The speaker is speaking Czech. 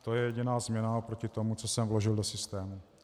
To je jediná změna proti tomu, co jsem vložil do systému.